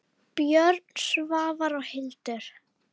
Björn, Svava og Hildur.